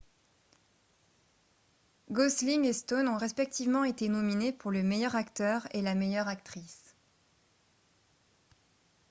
golsling et stone ont respectivement été nominés pour le meilleur acteur et la meilleure actrice